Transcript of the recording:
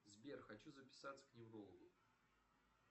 сбер хочу записаться к неврологу